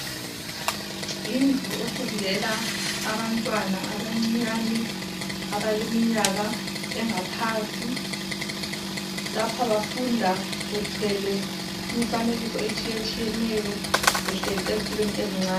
Yindlu efundela abantwana abancinyane abaleminyaka engaphansi. Lapha bafunda bethwele imifanekiso etshiyetshiyeneyo behleli ezitulweni ezincane.